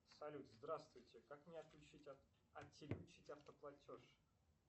салют здравствуйте как мне отключить автоплатеж